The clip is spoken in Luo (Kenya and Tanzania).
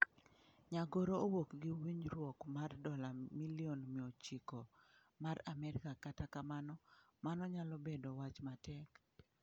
Nyagoro owuok gi winjruok mar dola milion 900 mar Amerka kata kamano, mano nyalo bedo wach matek.